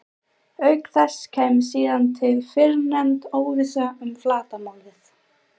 Auk þess kæmi síðan til fyrrnefnd óvissa um flatarmálið.